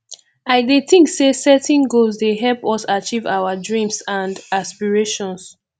i dey think say setting goals dey help us achieve our dreams and aspirations